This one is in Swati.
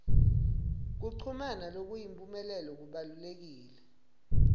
kuchumana lokuyimphumelelo kubalulekile